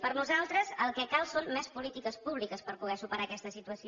per nosaltres el que cal són més polítiques públiques per poder superar aquesta situació